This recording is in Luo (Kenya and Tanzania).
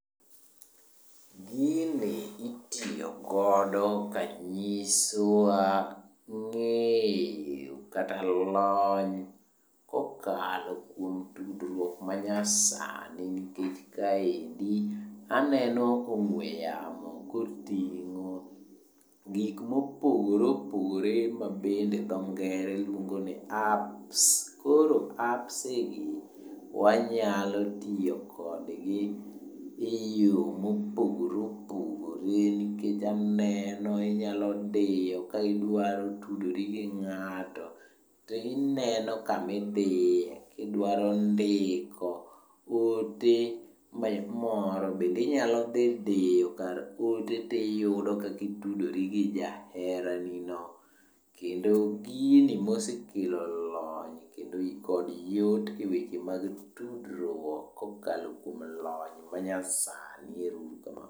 Gini itiyogodo kanyisowa ng'eyo kata lony kokalo kuom tudruok manyasani nikech kaendi aneno ka ong'we yamo koting'o gik mopogore opogore ma bende tho ng'ere luongo ni Apps. Koro Appsi gi wanyalo tiyo kodgi e yo mopogore opogore nikech aneno inyalo diyo ka idwaro tudori gi ng'ato, tineno kamidiye, kidwaro ndiko ote moro bende inyalo dhi diyo kar ote tiyudo kaka itudori gi jaheranino. Kendo gini mosekelo lony kendo kod yot e weche mag tudruok kokalo kuom lony manyasani. Ero uru kamano.